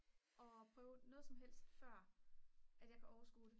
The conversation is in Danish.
og prøve noget som helst før at jeg kan overskue